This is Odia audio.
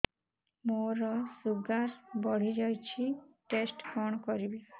ମୋର ଶୁଗାର ବଢିଯାଇଛି ଟେଷ୍ଟ କଣ କରିବି